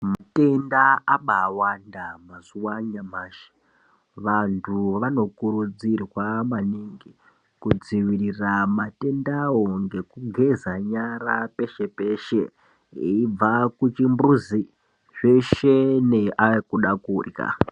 Matenda abaawanda mazuwa anyamashi. Vantu vanokurudzirwa maningi kudziirira matenda wo ngekugeza nyara peshe peshe eibva kuchimbuzi. Zveshe neakuda kudyra.